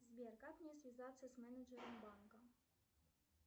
сбер как мне связаться с менеджером банка